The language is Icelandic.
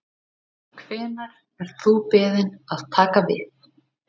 Hvenær ert þú beðinn að taka við?